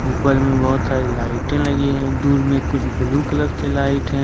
ऊपर में बहुत सारी लाइटे लगी हैं दूर में ब्लू कलर की लाइट है।